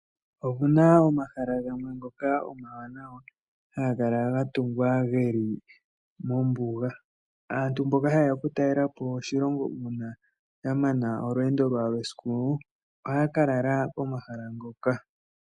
Opuna omahala gamwe ngoka omawanawa haga kala ga tungwa geli mombuga. Aatalelipo ngele tayeya oku talelapo konima shampa ya mana olweendo lwawo lwesiku ohaa kalala komahala hoka.